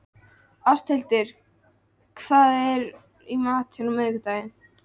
Áshildur, hvað er í matinn á miðvikudaginn?